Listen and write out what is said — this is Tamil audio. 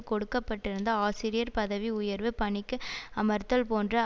கொடுக்க பட்டிருந்த ஆசிரியர் பதவி உயர்வு பணிக்கு அமர்த்தல் போன்ற